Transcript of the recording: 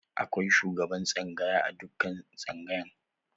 Akwai shugaban tsangaya a dukkan tsangaya.